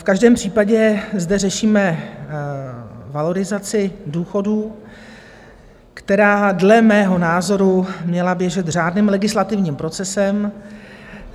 V každém případě zde řešíme valorizaci důchodů, která dle mého názoru měla běžet řádným legislativním procesem.